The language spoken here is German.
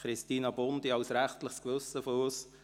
Christina Bundi danke ich als rechtliches Gewissen des Rats.